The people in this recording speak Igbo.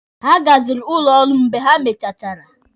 Ha gazịrị ụlọ ọrụ m mgbe ha mechachara.